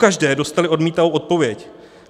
Pokaždé dostali odmítavou odpověď.